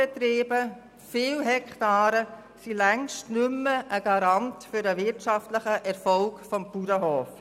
Betriebe mit vielen Hektaren sind längst nicht mehr ein Garant für den wirtschaftlichen Erfolg eines Bauernhofs.